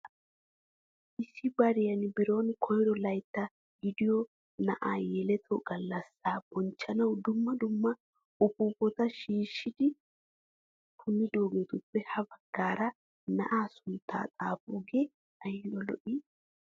Issi bariyaan biron koyro laytta gidiyoo na'aa yeletto gallasaa bonchchanawu dumma dumma upuupata shiishi punnidoogetuppe ha baggaara na'aa sunttaa xaapidoogee ayba lo"ii!